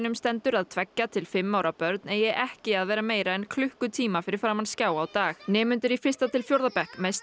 stendur að tveggja til fimm ára börn eigi ekki að vera meira en klukkutíma fyrir framan skjá á dag nemendur í fyrsta til fjórða bekk mest